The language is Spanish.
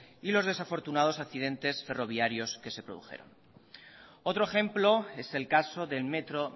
y los desafortunados accidentes ferroviarios que se produjeron otro ejemplo es el caso del metro